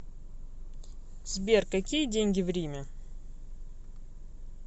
сбер какие деньги в риме